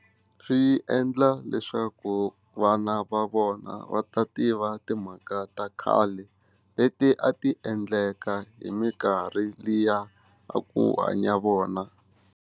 Swi endla leswaku vana va vona va ta tiva timhaka ta khale leti a ti endleka hi mikarhi liya a ku hanya vona.